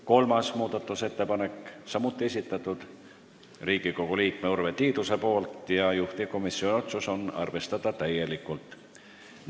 Kolmas muudatusettepanek, samuti esitanud Riigikogu liige Urve Tiidus, juhtivkomisjoni otsus: arvestada täielikult.